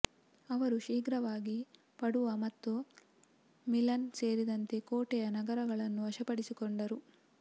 ಅವರು ಶೀಘ್ರವಾಗಿ ಪಡುವಾ ಮತ್ತು ಮಿಲನ್ ಸೇರಿದಂತೆ ಕೋಟೆಯ ನಗರಗಳನ್ನು ವಶಪಡಿಸಿಕೊಂಡರು